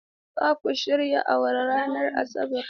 Za ku shirya awara ranar Asabar?